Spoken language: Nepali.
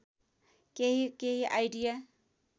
केही केही आइडिया